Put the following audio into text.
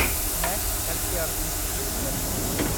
max healthcare institute Ltd